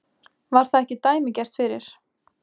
Var það ekki dæmigert fyrir